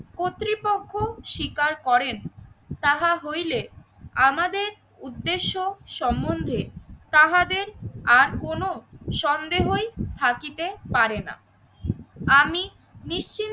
কর্তৃপক্ষ স্বীকার করেন তাহা হইলে আমাদের উদ্দেশ্য সম্বন্ধে তাহাদের আর কোন সন্দেহই থাকিতে পারে না। আমি নিশ্চিন্ত